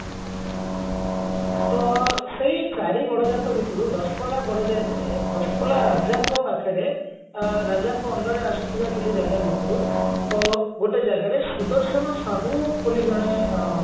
ତ ସେଇ ଚାରି ଗଡଜାତ ଭିତରୁ ଦଶପଲ୍ଲା ଗଡଜାତରେ ଦଶପଲ୍ଲା ରାଜାଙ୍କ ପାଖରେ ଅ ରାଜାଙ୍କ under ରେ ଆସୁଥିବା କିଛି ଜାଗା ଭିତରୁ ଅ ଗୋଟେ ଜାଗାରେ ସୁଦର୍ଶନ ସାହୁ ବୋଲି ଜଣେ ଅ